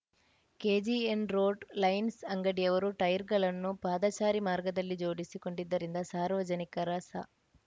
KGN road lines ಅಂಗಡಿಯವರು ಟೈರ್‌ಗಳನ್ನು ಪಾದಚಾರಿ ಮಾರ್ಗದಲ್ಲಿ ಜೋಡಿಸಿ ಕೊಂಡಿದ್ದರಿಂದ ಸಾರ್ವಜನಿಕರ ಸ